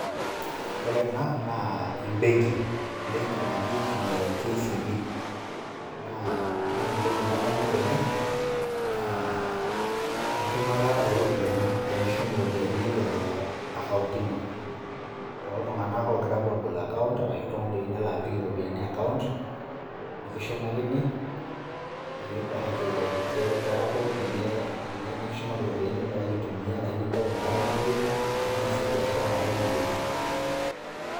Ore ena naa embenki, embenki naji nee KCB naa ore intoki nadamu tene naa enchumata ooropiyiani, tinishum iropiyiani te account ino too ltunganak apa oogira aabol account arashu oltungani oyeu nelo apik iropiyiani ]cs]account nikishumakini peyie ibaraki peeku ninye nikishumaki ropiyiani nibaraki aitumiyaa ashu nintayu enkata niyeu, ashu niasie biashara enkata niyeu.